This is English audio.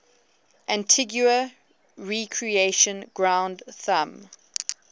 antigua recreation ground thumb